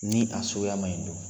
Ni a suguya man ɲi dun